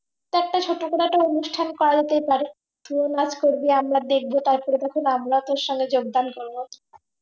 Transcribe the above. একটা ছোট্ট করে একটা অনুষ্ঠান করা যেতে পারে তুইও নাচ করবি আমরাও দেখব তারপরে তখন আমরাও তোর সঙ্গে যোগদান করবো